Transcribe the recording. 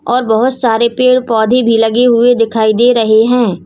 और बहोत सारे पेड़ पौधे भी लगे हुए दिखाई दे रहे हैं।